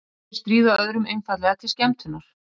Sumir stríða öðrum einfaldlega til skemmtunar.